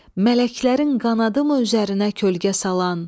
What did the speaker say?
Mələklərin qanadı mı üzərinə kölgə salan?